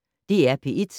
DR P1